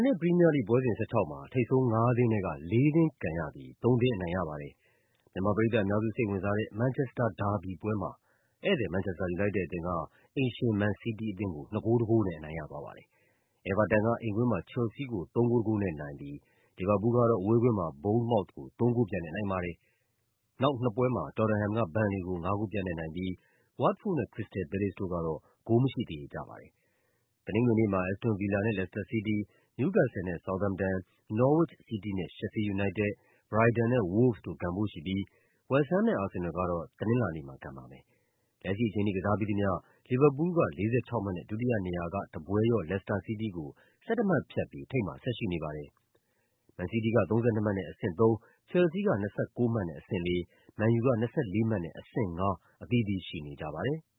နေ့ ပရီးမီးယားလိဂ်ပွဲစဉ် ၁၆ မှာ ထိပ်ဆုံးငါးသင်းထဲက လေးသင်း ကန်ရပြီး သုံးသင်းအနိုင်ရပါတယ်။ မြန်မာပရိသတ်အများစု စိတ်ဝင်စားတဲ့ မန်ချက်စတာဒါဘီပွဲမှာ ဧည့်သည် မန်ချက်စတာ ယူနိုက်တက်အသင်းက အိမ်ရှင် မန်စီးတီးအသင်းကို ၂ ဂိုး ၁ ဂိုးနဲ့ အနိုင်ရသွားပါတယ်။ အဲဗာတန်က အိမ်ကွင်းမှာ ချယ်လ်ဆီးကို ၃ ဂိုး ၁ ဂိုးနဲ့နိုင်ပြီး လီဗာပူးလ်ကတော့ အဝေးကွင်းမှာ ဘုန်းန်မောက်သ်ကို ၃ ဂိုးပြတ်နဲ့ နိုင်ပါတယ်။ နောက်နှစ်ပွဲမှာ တော်တမ်ဟမ်က ဘန်လေကို ၅ ဂိုးပြတ်နဲ့နိုင်ပြီး ဝတ်တ်ဖို့ဒ်နဲ့ ခရစ္စတယ်လ် ပဲလေ့စ်တို့ကတော့ ဂိုးမရှိ သရေကျပါ တယ်။ တနင်္ဂနွေနေ့မှာ အက်စ်တွန် ဗီလာနဲ့ လက်စတာ စီးတီး၊ နယူးကက်ဆယ်လ်နဲ့ ဆောက်သမ်တန်၊ နော်ဝစ်ချ် စီးတီးနဲ့ ရှက်ဖီး ယူနိုက်တက်၊ ဘရိုက်တန်နဲ့ ဝို့လ်ဗ်စ်တို့ ကန်ဖို့ရှိပြီး ဝက်စ်ဟမ်းနဲ့ အာဆင်နယ်လ်ကတော့ တနင်္လာနေ့မှာ ကန်ပါမယ်။ လက်ရှိအချိန်ထိ ကစားပြီးသမျှ လီဗာပူးလ်က ၄၆ မှတ်နဲ့ ဒုတိယနေရာက တပွဲလျော့ လက်စတာ စီးတီးကို ၁၁ မှတ်ဖြတ်ပြီး ထိပ်မှာဆက်ရှိနေပါတယ်။ မန်စီးတီးက ၃၂ မှတ်နဲ့ အဆင့် ၃၊ ချယ်လ်ဆီးက ၂၉ မှတ်နဲ့ အဆင့် ၄၊ မန်ယူက ၂၄ မှတ်နဲ့ အဆင့် ၅ အသီးသီး ရှိနေကြပါတယ်။